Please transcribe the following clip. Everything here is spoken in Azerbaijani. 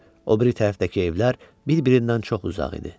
O biri tərəfdəki evlər bir-birindən çox uzaq idi.